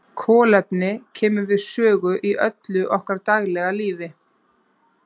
Kolefni kemur við sögu í öllu okkar daglega lífi.